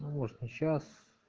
ну может не сейчас